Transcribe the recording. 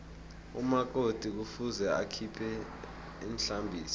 umakoti kufuze akhiphe ihlambiso